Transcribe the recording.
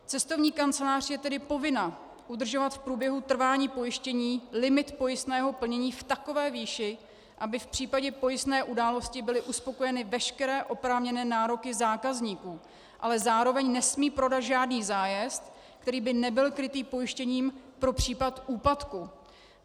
Cestovní kancelář je tedy povinna udržovat v průběhu trvání pojištění limit pojistného plnění v takové výši, aby v případě pojistné události byly uspokojeny veškeré oprávněné nároky zákazníků, ale zároveň nesmí prodat žádný zájezd, který by nebyl krytý pojištěním pro případ úpadku.